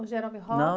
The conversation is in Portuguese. O Jerome Robbins?ão.